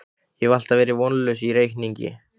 Ég hef alltaf verið vonlaus í reikningi